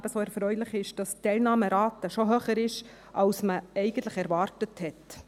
Ebenso erfreulich ist, dass die Teilnahmerate bereits höher ist, als man eigentlich erwartet hat.